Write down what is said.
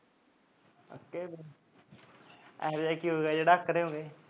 ਅੱਕੋੇ ਹੋਏ ਇਹੋ ਜਿਹਾ ਕੀ ਹੋ ਗਿਆ ਜੋ ਅੱਕੜੇ ਹੋ ਗਏ